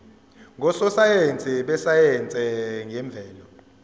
ngososayense besayense yemvelo